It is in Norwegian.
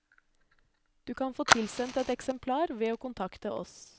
Du kan få tilsendt et eksemplar ved å kontakte oss.